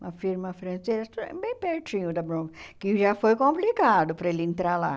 Uma firma francesa, bem pertinho da Brom, que já foi complicado para ele entrar lá.